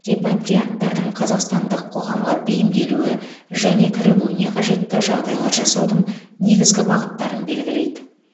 репатрианттардың қазақстандық қоғамға бейімделуі және кірігуіне қажетті жағдайлар жасаудың негізгі бағыттарын белгілейді